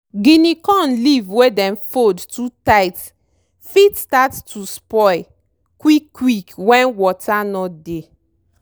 guinea corn leave wey dem fold too tight fit start to spoil quick quick wen water no dey.